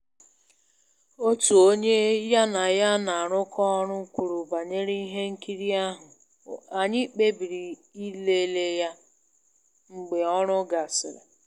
Ihe omume ahụ bụ n'efu, n'ihi ya, anyị wetara nri ehihie anyị ma nwee mmasị n'egwú ehihie